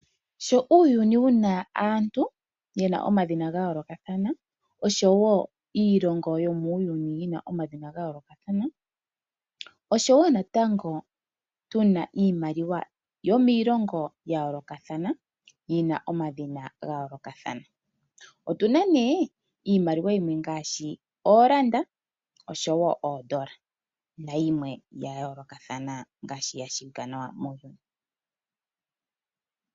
Sho uuyuni wu na aantu ye na omadhina ga yoolokathana oshowo iilongo yomuuyuni yi na omadhina ga yoolokathana, oshowo natango tu na iimaliwa yomiilongo ya yoolokathana yi na omadhina ga yoolokathana. Otu na nduno iimaliwa yimwe ngaashi ooranda noshowo oodola nayimwe ya yoolokathana ngaashi ya tseyika nawa muuyuni.